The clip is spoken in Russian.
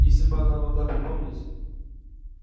если бы она могла припомнить